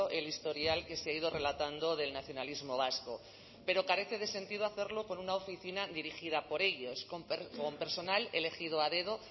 el historial que se ha ido relatando del nacionalismo vasco pero carece de sentido hacerlo con una oficina dirigida por ellos con personal elegido a dedo